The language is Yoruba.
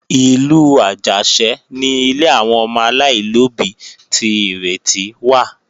Ìlú Àjàṣẹ́ ni ilé àwọn ọmọ aláìlóbí ti Ìrètí wà